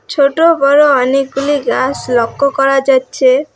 ছোটো বড়ো অনেকগুলি গাছ লক্ষ্য করা যাচ্ছে।